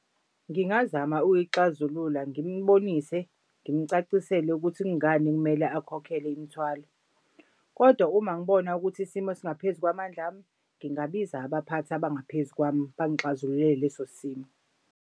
Ngingazama ukuyixazulula ngimbonise ngimcacisele ukuthi kungani kumele akhokhele imithwalo. Kodwa uma ngibona ukuthi isimo singaphezu kwamandla ami ngingabiza abaphathi abangaphezu kwami bangixazululele leso simo.